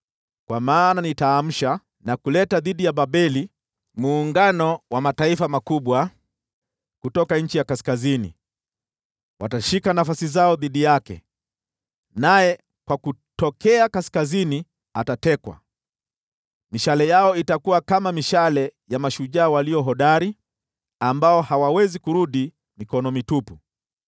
Kwa maana nitaamsha na kuleta dhidi ya Babeli muungano wa mataifa makubwa kutoka nchi ya kaskazini. Watashika nafasi zao dhidi yake, naye kutokea kaskazini atatekwa. Mishale yao itakuwa kama mishale ya mashujaa walio hodari, ambao hawawezi kurudi mikono mitupu.